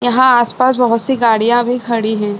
यहाँ आस-पास बहुत-सी गाड़ियां भी खड़ी हैं |